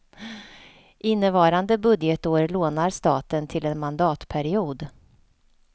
Innevarande budgetår lånar staten till en mandatperiod.